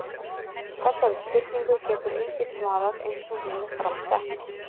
Þessari spurningu getur enginn svarað eins og hún er fram sett.